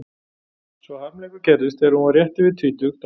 Sá harmleikur gerðist þegar hún var rétt yfir tvítugt að